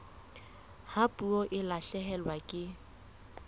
ha puo e lahlehelwa ke